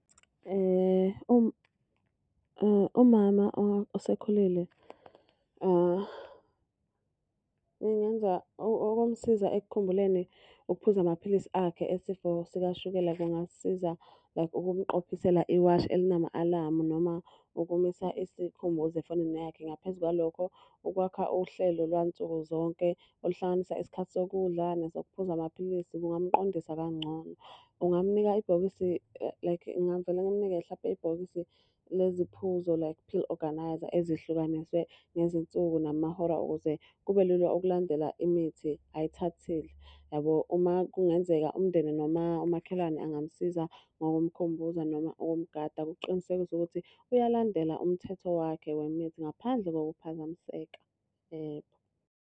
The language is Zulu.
umama osekhulile ngingenza ukumsiza ekukhululeni ukuphuza amaphilisi akhe esifo sikashukela kungasiza like ukumqophisela iwashi elinama alamu noma ukumisa isikhumbuzo efonini yakhe. Ngaphezu kwalokho, ukwakha uhlelo lwansuku zonke oluhlanganisa isikhathi sokudla nesokuphuza amaphilisi kungamqondisa kangcono. Ungamunika ibhokisi like ngingavele ngimunike hlampe ibhokisi lezi phuzo like pill orgarnizer, ezihlukaniswe ngezinsuku namahora ukuze kube lula ukulandela imithi ayithathile yabo. Uma kungenzeka umndeni noma umakhelwane angamsiza ngokumkhumbuza noma ukumgada kuqinisekiswe ukuthi uyalandela umthetho wakhe wemithi ngaphandle kokuphazamiseka .